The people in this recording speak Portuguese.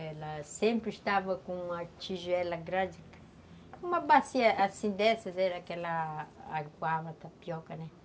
Ela sempre estava com uma tigela grande, uma bacia assim dessas, era aquela aguava, tapioca, né?